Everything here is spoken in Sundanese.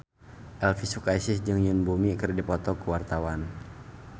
Elvi Sukaesih jeung Yoon Bomi keur dipoto ku wartawan